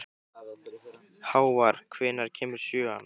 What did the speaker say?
Hávar, hvenær kemur sjöan?